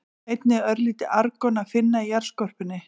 Einnig er örlítið argon að finna í jarðskorpunni.